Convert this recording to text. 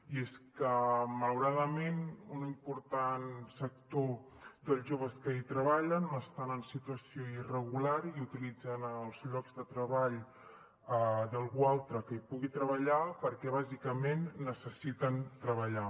i és que malauradament un important sector dels joves que hi treballen estan en situació irregular i utilitzen els llocs de treball d’algú altre que hi pugui treballar perquè bàsicament necessiten treballar